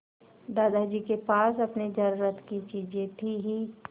दादाजी के पास अपनी ज़रूरत की चीजें थी हीं